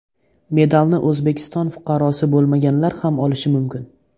Medalni O‘zbekiston fuqarosi bo‘lmaganlar ham olishi mumkin.